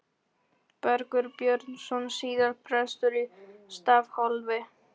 Bergur Björnsson, síðar prestur í Stafholti.